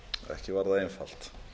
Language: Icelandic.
ekki var það einfalt